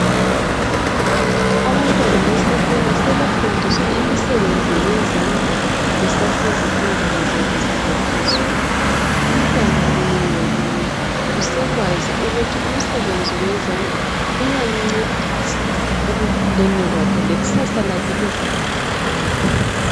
Abantwana besikolo sebefundiswa imisebenzi yezandla besasezifundweni zabo zangaphezulu. Umtwana munye ngamunye usekwazi ukuthi umsebenzi wezandla uyamcedisa ekukhuleni kwakhe lekusasa lakhe livele likhanye.